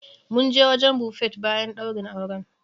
Mun je wajen Buffet bayan ɗaurin auren.